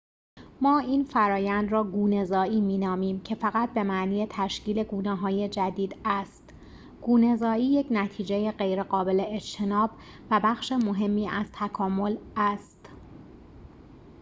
ما این فرایند را گونه‌زایی می نامیم که فقط به معنی تشکیل گونه‌های جدید است گونه‌زایی یک نتیجه غیرقابل اجتناب و بخش مهمی از تکامل است